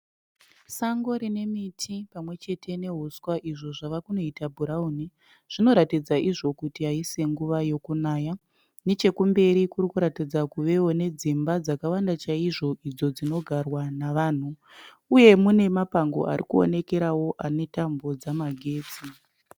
Sango rine miti pamwechete nehuswa izvo zvave kunoita bhurauni. Zvinoratidza izvo kuti haisi nguva yekunaya . Nechekumberi kurikuratidza kuvewo nedzimba dzakawanda chaizvo idzo dzinogarwa navanhu. Uye mune mapango ari kuonekerawo ane tambo dzamagetsi.